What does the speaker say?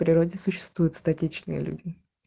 природе существует статичные люди